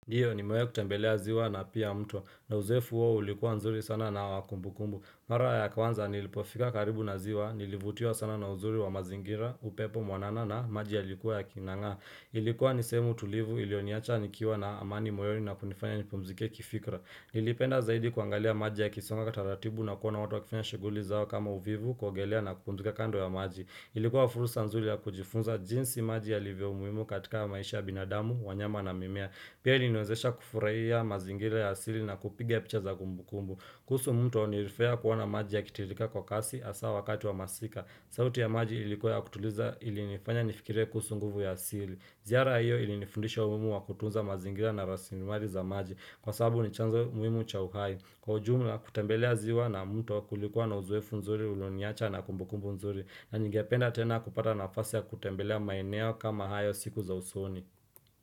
Ndiyo nimewahi kutembelea ziwa na pia mto na uzoefu huo ulikuwa nzuri sana na wa kumbukumbu. Mara ya kwanza nilipofika karibu na ziwa, nilivutiwa sana na uzuri wa mazingira, upepo mwanana na maji yalikuwa yaking'ang'ana. Ilikuwa ni sehemu tulivu ilioniacha nikiwa na amani moyoni na kunifanya nipumzike kifikra. Nilipenda zaidi kuangalia maji yakisonga taratibu na kuona watu wakifanya shighuli zao kama uvuvi kuogelea na kupumzika kando ya maji. Ilikuwa fursa nzuri ya kujifunza jinsi maji yalivyo muhimu katika maisha ya binadamu, wanyama na mimea. Pia iliniwezesha kufurahia mazingira ya asili na kupiga picha za kumbukumbu. Kuhusu mto nirifurahia kuona maji yakitirika kwa kasi hasaa wakati wa masika. Sauti ya maji ilikuwa ya kutuliza ilinifanya nifikirie kuhusu nguvu ya asili. Ziara hiyo ilinifundisha umuhimu wa kutunza mazingira na rasilimali za maji. Kwa sababu ni chanzo muhimu cha uhai. Kwa ujumla kutembelea ziwa na mto kulikuwa na uzoefu nzuri ulioniacha na kumbukumbu nzuri na ningependa tena kupata nafasi ya kutembelea maeneo kama hayo siku za usoni.